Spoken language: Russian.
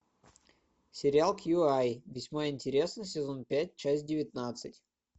сериал кьюай весьма интересно сезон пять часть девятнадцать